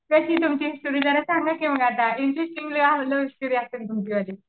तेच मग तुमची स्टोरी सांगा की मग आता इंटरेस्टिंग